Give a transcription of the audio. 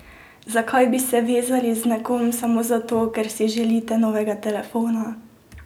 Zakaj bi se vezali z nekom samo zato, ker si želite novega telefona?